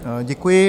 Děkuji.